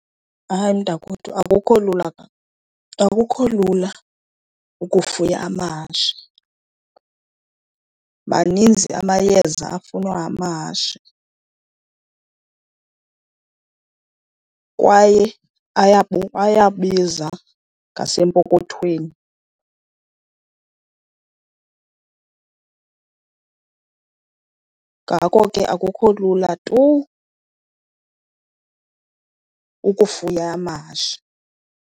Hayi mntakwethu, akukho lula , akukho lula ukufuya amahashe. Maninzi amayeza afunwa ngamahashe kwaye ayabiza ngasempokothweni. Ngako ke akukho lula tu ukufuya amahashe.